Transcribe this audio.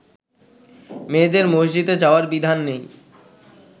মেয়েদের মসজিদে যাওয়ার বিধান নেই